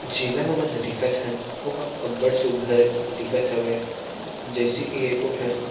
जेला हमन ह देखत हन ओहा अब्बड़ सुघ्घर दिखत हवय जइसे की एहा एको ठन--